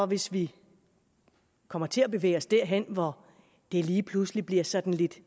hvis vi kommer til at bevæge os derhen hvor det lige pludselig bliver sådan lidt